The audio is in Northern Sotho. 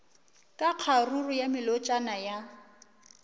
ka kgaruru ya melotšana ya